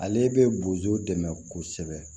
Ale bɛ bozo dɛmɛ kosɛbɛ